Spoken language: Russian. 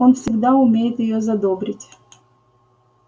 он всегда умеет её задобрить